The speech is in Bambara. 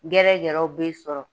Gɛrɛgɛrɛw b'i sɔrɔ